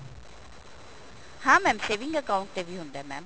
ਹਾਂ mam saving account ਤੇ ਵੀ ਹੁੰਦਾ mam